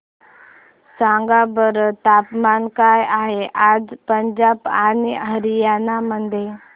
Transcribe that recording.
सांगा बरं तापमान काय आहे आज पंजाब आणि हरयाणा मध्ये